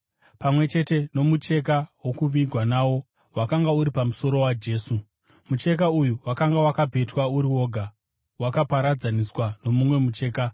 pamwe chete nomucheka wokuvigwa nawo wakanga uri mumusoro waJesu. Mucheka uyu wakanga wakapetwa uri woga, wakaparadzaniswa nomumwe mucheka.